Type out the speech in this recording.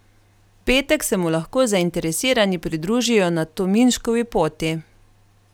V petek se mu lahko zainteresirani pridružijo na Tominškovi poti.